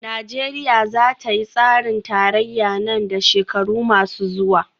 Najeriya za ta yi tsarin tarayya nan da shekaru masu zuwa